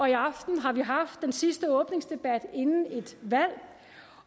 i aften har vi haft den sidste åbningsdebat inden et valg